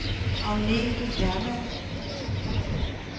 Agnete Hermann